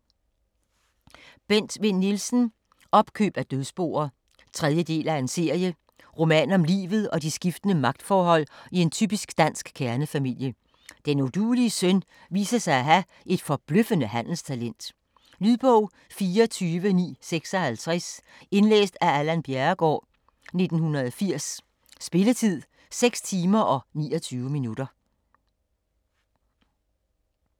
Vinn Nielsen, Bent: Opkøb af dødsboer 3. del af serie. Roman om livet og de skiftende magtforhold i en typisk dansk kernefamilie. Den uduelige søn viser sig at have et forbløffende handelstalent. Lydbog 24956 Indlæst af Allan Bjerregaard, 1980. Spilletid: 6 timer, 29 minutter.